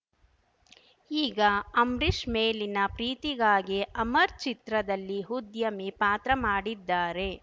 ಈಗ ಅಂಬ್ರಿಶ್‌ ಮೇಲಿನ ಪ್ರೀತಿಗಾಗಿ ಅಮರ್ ಚಿತ್ರದಲ್ಲಿ ಉದ್ಯಮಿ ಪಾತ್ರ ಮಾಡಿದ್ದಾರೆ